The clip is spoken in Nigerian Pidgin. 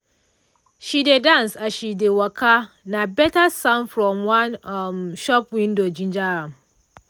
she dey dance as she dey waka na better sound from one um shop window ginger am.